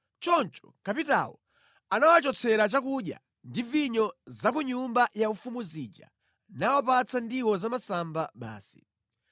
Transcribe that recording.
Choncho kapitawo anawachotsera chakudya ndi vinyo za ku nyumba yaufumu zija nawapatsa ndiwo zamasamba basi.